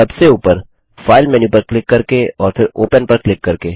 सबसे ऊपर file menu पर क्लिक करके और फिर ओपन पर क्लिक करके